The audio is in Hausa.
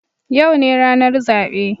Yau ne ranar zabe